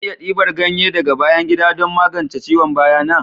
Zan iya dibar ganye daga bayan gida don magance ciwon baya na?